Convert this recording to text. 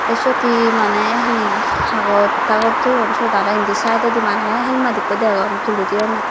te syot he maneh hi hagos tagos toyon syot aro indi saidodi maneh helmet ikko degong tuli toyonney.